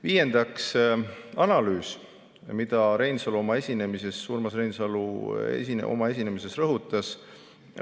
Viiendaks, analüüs, mida Urmas Reinsalu oma esinemises rõhutas.